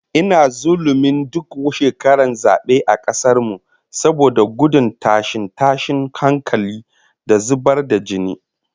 Ina zullumin duk shekaran zabe a kasar mu, saboda gudun tashe-tashen hankula da zubar da jini